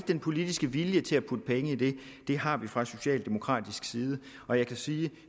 den politiske vilje til at putte penge i det det har vi fra socialdemokratisk side og jeg kan sige at